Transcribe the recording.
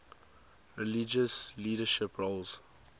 religious leadership roles